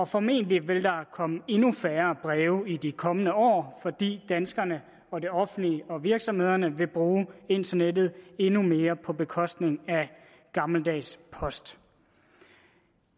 formentlig vil der komme endnu færre breve i de kommende år fordi danskerne og det offentlige og virksomhederne vil bruge internettet endnu mere på bekostning af gammeldags post